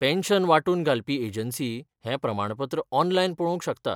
Pension वांटून घालपी agency हें प्रमाणपत्र ऑनलायन पळोवंक शकता.